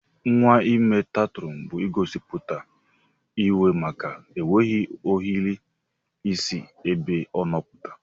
Nwa ime tantrọn bu igosiputa iwe maka enweghi ohere isi ebe ọno pụta.